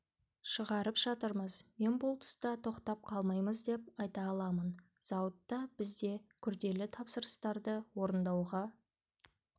шығарып жатырмыз мен бұл тұста тоқтап қалмаймыз деп айта аламын зауытта бізде күрделі тапсырыстарды орындауға